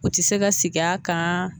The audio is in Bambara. U tɛ se ka sig'a kan,